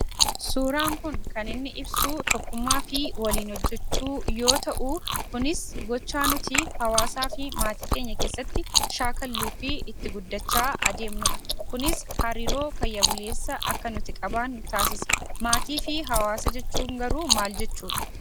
Suuraan kun kan inni ibsuu tokkummaa fi waliin hojjechuu yoo ta'u kunis gochaa nuti hawaasaa fi maatii keenya keessatti shaakalluu fi itti guddachaa adeemnudha. Kunis hariiroo fayya buleessa akka nuti qabaannu taasisa. Maatii fi hawaasa jechuun garuu maal jechudha?